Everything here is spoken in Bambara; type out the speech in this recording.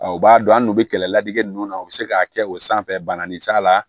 o b'a dɔn an n'u bɛ kɛlɛ ladege ninnu na u bɛ se k'a kɛ o sanfɛ bananin s'a la